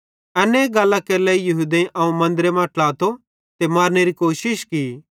एन्ने गल्लां केरे लेइ यहूदेईं अवं मन्दरे मां ट्लातो ते मारनेरी कोशिश की